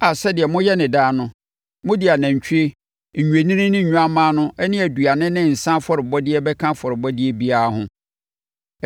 a sɛdeɛ moyɛ no daa no, mode anantwie, nnwennini ne nnwammaa no ne aduane ne nsã afɔrebɔdeɛ bɛka afɔrebɔdeɛ biara ho.